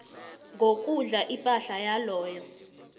ngokudla ipahla yaloyo